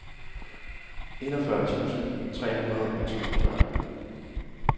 enogfyrre tusind tre hundrede og toogfyrre